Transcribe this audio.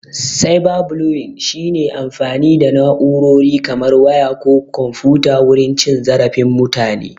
"Cyber bullying" shi ne amfani da na'urori kamar waya ko komfuta wurin cin zarafin mutane.